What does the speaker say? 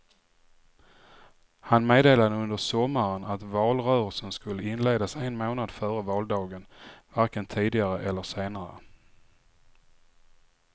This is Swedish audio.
Han meddelade under sommaren att valrörelsen skulle inledas en månad före valdagen, varken tidigare eller senare.